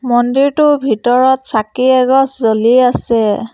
মন্দিৰটোৰ ভিতৰত চাকি এগছ জ্বলি আছে।